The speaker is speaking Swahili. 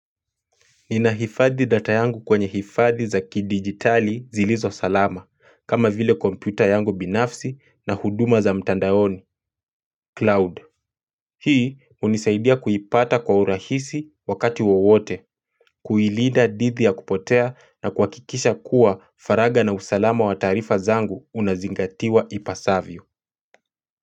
Ninahifadhi data yangu kwenye hifadhi za kidijitali zilizosalama, kama vile kompyuta yangu binafsi na huduma za mtandaoni, cloud. Hii hunisaidia kuipata kwa urahisi wakati wowote, kuilinda dhidi ya kupotea na kuhakikisha kuwa faragha na usalama wa taarifa zangu unazingatiwa ipasavyo.